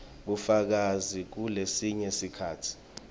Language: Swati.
bufakazi kulesinye sikhatsi